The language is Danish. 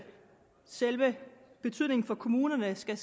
selve betydningen for kommunerne skal